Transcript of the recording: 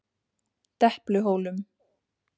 Depluhólum